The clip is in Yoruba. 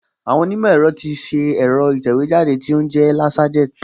Àwọn onímọ̀ ẹ̀rọ ti ṣe ẹ̀rọ ìtẹ̀wéjáde tó ń jẹ́ Laserjet